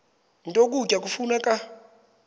nto ukutya kufuneka